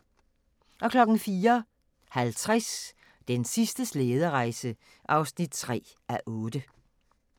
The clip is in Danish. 04:50: Den sidste slæderejse (3:8)